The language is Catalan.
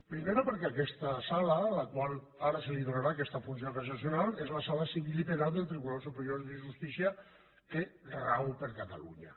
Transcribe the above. primera perquè aquesta sala a la qual ara se li donarà aquesta funció cassacional és la sala civil i penal del tribunal superior de justícia que rau per catalunya